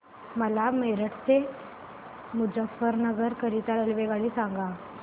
मला मेरठ ते मुजफ्फरनगर करीता रेल्वेगाडी सांगा